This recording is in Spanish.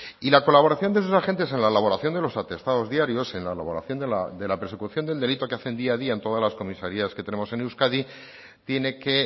y la colaboración de esos agentes en la elaboración de los atestados diarios en la elaboración de la persecución del delito que hacen día a día en todas las comisarías que tenemos en euskadi tiene que